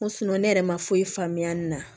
Ko ne yɛrɛ ma foyi faamuya nin na